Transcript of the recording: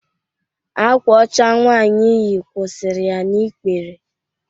Akwa ọcha nwaanyi yi kwụsịrị ya n'ikpere.